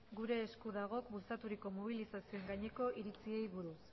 gure esku dagok bultzaturiko mobilizazioen gaineko iritziei buruz